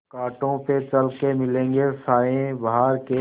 कांटों पे चल के मिलेंगे साये बहार के